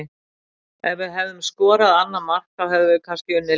Ef við hefðum skorað annað mark þá hefðum við kannski unnið leikinn.